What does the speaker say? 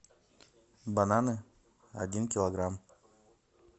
бананы один килограмм